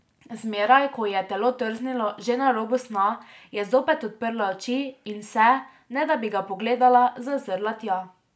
Zmeraj, ko ji je telo trznilo že na robu sna, je zopet odprla oči in se, ne da bi ga pogledala, zazrla tja.